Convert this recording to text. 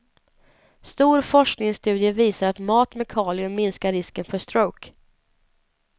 Stor forskningsstudie visar att mat med kalium minskar risken för stroke.